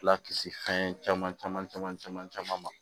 Lakisi fɛn caman caman caman caman caman ma